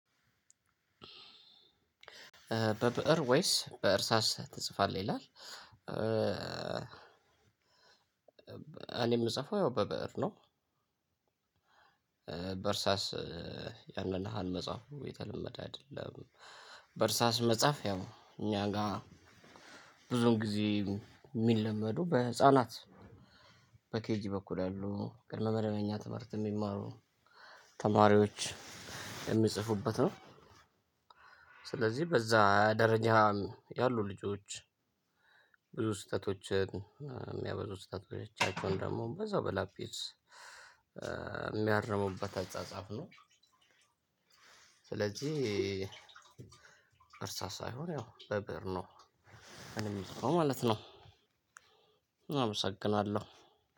በብእር ወይስ በእርሳስ ትጽፋለህ ይላል? እኔ የምጽፈው ያው በብእር ነው። በእርሳስ ያንን ያህል መፃፉ የተለመደ አይደለም። በእርሳስ መጻፍ ያው እኛ ጋር ብዙውን ጊዜ ሚለመዱ በህፃናት በኬጂ በኩል ያሉ ቅድመ መደበኛ ትምህርት የሚማሩ ተማሪዎች የሚጽፉበት ነው። ስለዚህ በዛ ደረጃ ያሉ ልጆች ብዙ ስህተቶችን የሚያበዙ ስህተቶቻቸውን ደግሞ በዛው በላጲስ የሚያርሙበት አጻጻፍ ነው። ስለዚህ እርሳስ ሳይሆን ያው በብእር ነው እኔ ምሰራው ማለት ነው። አመሰግናለሁ።